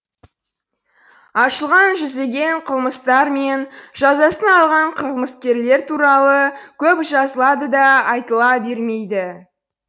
ашылған жүздеген қылмыстар мен жазасын алған қылмыскерлер туралы көп жазыла да айтыла да бермейді